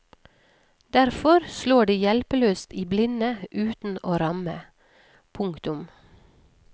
Derfor slår de hjelpeløst i blinde uten å ramme. punktum